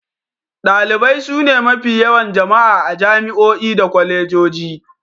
Dalibai sune mafi yawan jama'a a jami'o'i da kwalejoji.